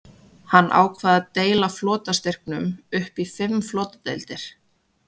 Hann ákvað að deila flotastyrknum upp í fimm flotadeildir.